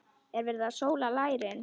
Er verið að sóla lærin?